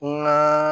N ka